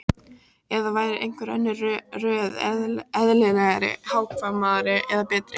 Eða væri einhver önnur röð eðlilegri, hagkvæmari eða betri?